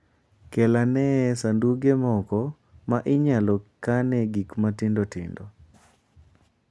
Kel ane sanduge moko ma inyalo kanoe gik matindo tindo.